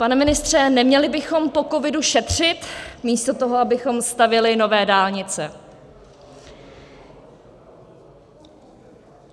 Pane ministře, neměli bychom po covidu šetřit, místo toho, abychom stavěli nové dálnice?"